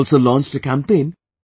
Also launched a campaign